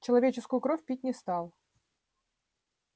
человеческую кровь пить не стал